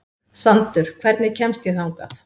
Sandur, hvernig kemst ég þangað?